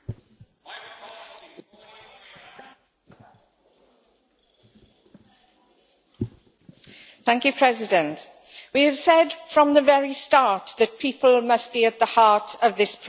Madam President, we have said from the very start that people must be at the heart of this process.